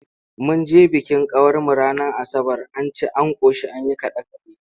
Mun je bikin kawarmu ranar Asabar, an ci an ƙoshi an yi kaɗe-kaɗe.